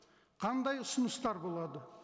қандай ұсыныстар болады